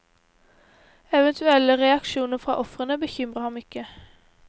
Eventuelle reaksjoner fra ofrene bekymrer ham ikke.